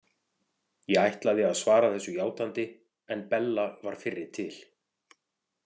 Ég ætlaði að svara þessu játandi en Bella var fyrri til.